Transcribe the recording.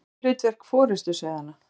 En hvert er hlutverk forystusauðanna?